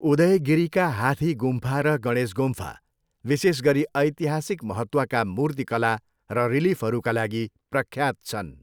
उदयगिरिका हाथी गुम्फा र गणेश गुम्फा विशेष गरी ऐतिहासिक महत्वका मूर्तिकला र रिलिफहरूका लागि प्रख्यात छन्।